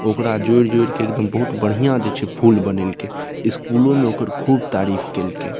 ओकरा जोर-जोर के एकदम बहुत बढ़िया जे छे फूल बनैलकै स्कूलों में ओकर खूब तारीफ़ कैल कै।